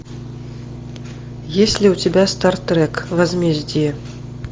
есть ли у тебя стартрек возмездие